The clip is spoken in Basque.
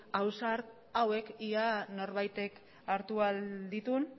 ausart hauek ea norbaitek hartu ahal dituen